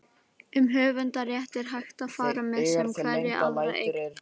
um höfundarrétt er hægt að fara með sem hverja aðra eign